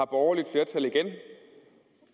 borgerligt flertal igen